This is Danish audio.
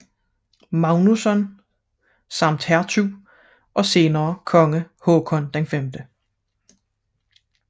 Magnusson samt hertug og senere konge Håkon 5